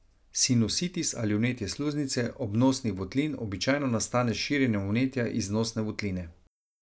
Sinusitis ali vnetje sluznice obnosnih votlin običajno nastane s širjenjem vnetja iz nosne votline.